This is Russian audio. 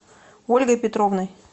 ольгой петровной